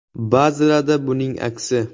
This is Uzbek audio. Ba’zilarida buning aksi.